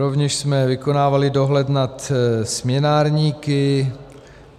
Rovněž jsme vykonávali dohled nad směnárníky.